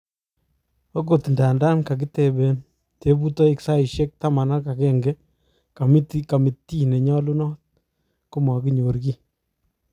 ogot nda kagitepen tuputoik saisiek taman ak agenge kamitii nenyalunot, komaginyor kii